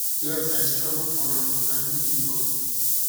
um yes i struggle for am but i no give up give up